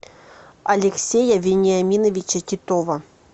алексея вениаминовича титова